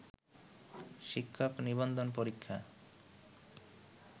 শিক্ষক নিবন্ধন পরীক্ষা